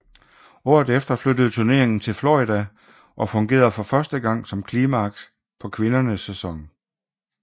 Året efter flyttede turneringen til Florida og fungerede for første gang som klimaks på kvindernes sæson